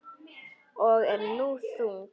Ég er nú þung.